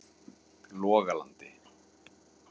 Logalandi